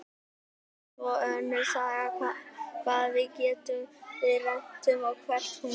Það er svo önnur saga hvað við gerum við rentuna og hvert hún fer.